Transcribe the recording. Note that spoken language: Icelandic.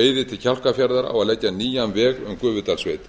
eiði til kjálkafjarðar á að leggja nýjan veg um gufudalssveit